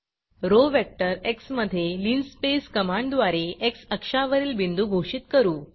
row vector x मधे linspaceलीनस्पेस कमांडद्वारे एक्स अक्षावरील बिंदू घोषित करू